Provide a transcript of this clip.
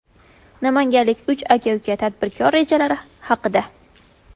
Namanganlik uch aka-uka tadbirkor rejalari haqida.